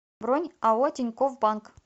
бронь ао тинькофф банк